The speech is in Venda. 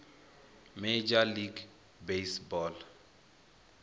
major league baseball